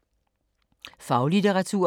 Faglitteratur